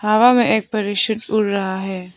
हवा में एक पैराशूट उड़ उड़ रहा है।